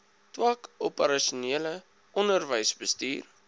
tak operasionele onderwysbestuur